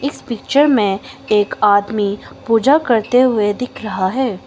इस पिक्चर में एक आदमी पूजा करते हुए दिख रहा है।